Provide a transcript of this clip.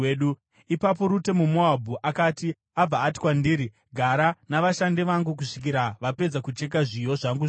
Ipapo Rute muMoabhu akati, “Abva ati kwandiri, ‘Gara navashandi vangu kusvikira vapedza kucheka zviyo zvangu zvose.’ ”